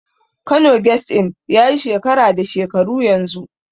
Kano Guest Inn yayi shekara da shekaru yanzu.